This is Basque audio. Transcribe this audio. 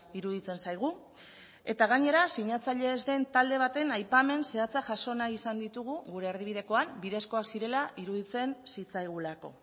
iruditzen zaigu eta gainera sinatzaile ez den talde baten aipamen zehatza jaso nahi izan ditugu gure erdibidekoan bidezkoak zirela iruditzen zitzaigulako